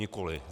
Nikoliv.